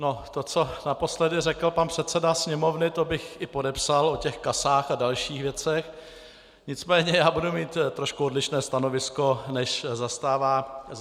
No to, co naposledy řekl pan předseda Sněmovny, to bych i podepsal, o těch casách a dalších věcech, nicméně já budu mít trošku odlišné stanovisko, než zastává on.